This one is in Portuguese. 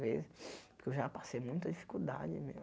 Vezes porque eu já passei muita dificuldade mesmo.